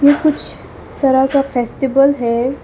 कुछ तरह का फेस्टिवल है।